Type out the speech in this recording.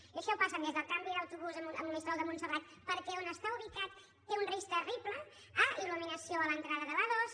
i això passa des del canvi d’autobús a monistrol de montserrat perquè on està ubicat té un risc terrible a il·luminació a l’entrada de la a·dos